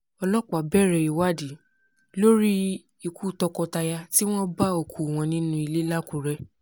ọlọ́pàá bẹ̀rẹ̀ ìwádìí lórí ikú tọkọ-taya tí wọ́n bá òkú wọn nínú ilé làkúrẹ́